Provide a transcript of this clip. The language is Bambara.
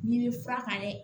N'i bɛ fura kan dɛ